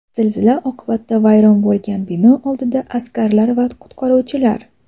Zilzila oqibatida vayron bo‘lgan bino oldida askarlar va qutqaruvchilar.